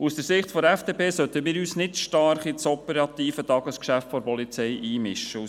Aus der Sicht der FDP sollten wir uns nicht allzu stark in das operative Tagesgeschäft der Polizei einmischen.